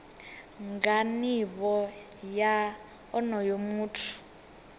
nga nivho ya onoyo muthu